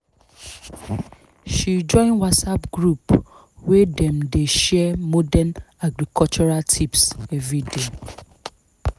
she join whatsapp group wey dem dey share modern agricultural tips every day